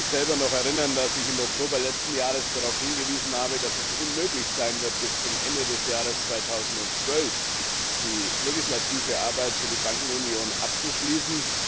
Ich kann mich erinnern, dass ich selber im Oktober letzten Jahres noch darauf hingewiesen habe, dass es unmöglich sein wird, bis zum Ende des Jahres 2012 die legislative Arbeit für die Bankenunion abzuschließen.